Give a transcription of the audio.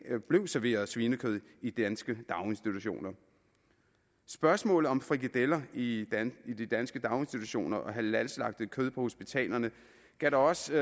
blev serveret svinekød i danske daginstitutioner spørgsmålet om frikadeller i de danske daginstitutioner og halalslagtet kød på hospitalerne gav da også